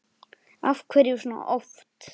Af hverju svona oft?